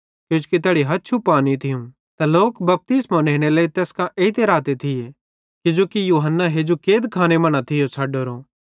किजोकि यूहन्ना हेजू कैदखाने मां न थियो छ़ड्डोरो